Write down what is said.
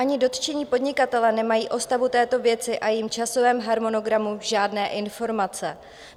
Ani dotčení podnikatelé nemají o stavu této věci a jejím časovém harmonogramu žádné informace.